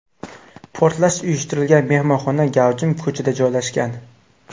Portlash uyushtirilgan mehmonxona gavjum ko‘chada joylashgan.